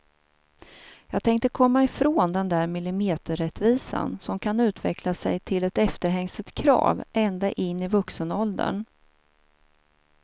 Jag tänkte komma ifrån den där millimeterrättvisan som kan utveckla sig till ett efterhängset krav ända in i vuxenåldern.